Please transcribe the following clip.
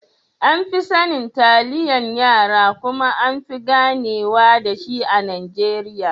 An fi sanin Taliyan raya kuma anfi ganewa dashi a Najeriya.